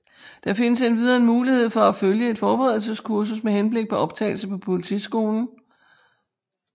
Der findes endvidere en mulighed for at følge et forberedelseskursus med henblik på optagelse på politiskolen